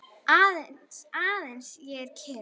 Aðeins ég er kyrr.